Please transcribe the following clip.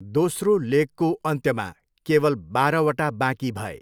दोस्रो लेगको अन्त्यमा, केवल बाह्रवटा बाँकी भए।